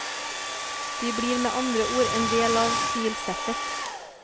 De blir med andre ord en del av stilsettet.